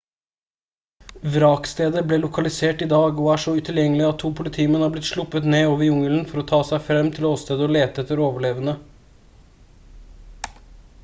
vrakstedet ble lokalisert i dag og er så utilgjengelig at to politimenn har blitt sluppet ned over jungelen for å ta seg fram til åstedet og lete etter overlevende